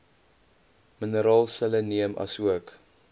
mineraal selenium asook